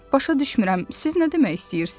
Başa düşmürəm, siz nə demək istəyirsiz?